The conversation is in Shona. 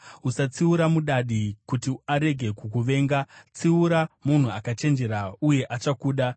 Usatsiura mudadi kuti arege kukuvenga; tsiura munhu akachenjera uye achakuda.